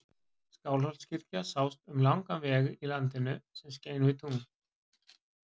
Skálholtskirkja sást um langan veg í landinu sem skein við tungli.